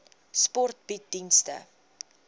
sport bied dienste